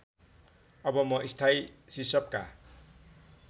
अब म स्थायी सिसपका